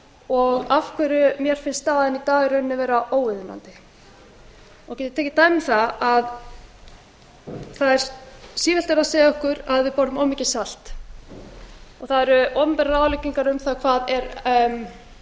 og af hverju mér finnst staðan í dag í rauninni vera óviðunandi ég get tekið dæmi um það að síðast var verið að segja okkur að við borðum of mikið salt og það eru opinberar ráðleggingar um það hvað